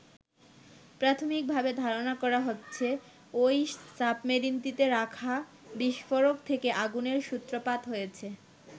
প্রাথমিকভাবে ধারণা করা হচ্ছে ওই সাবমেরিনটিতে রাখা বিস্ফোরক থেকে আগুনের সূত্রপাত হয়েছে।